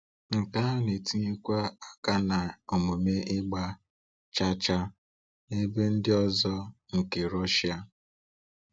Nke ahụ na-etinyekwa aka na omume ịgba chaa chaa n’ebe ndị ọzọ nke Russia.